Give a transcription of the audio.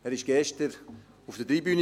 Er war gestern auf der Tribüne.